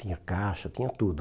Tinha caixa, tinha tudo.